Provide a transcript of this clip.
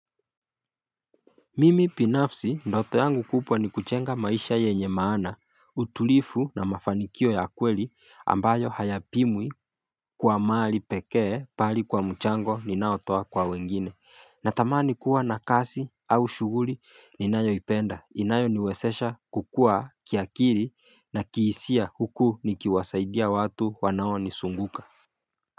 Mimi binafsi ndoto yangu kubwa ni kujenga maisha yenye maana utulivu na mafanikio ya kweli ambayo hayapimwi kwa mali pekee bali kwa mchango ninaotoa kwa wengine Natamani kuwa na kazi au shughuli ninayoipenda inayo niwezesha kukua kiakili na kihisia huku nikiwasaidia watu wanao nizunguka.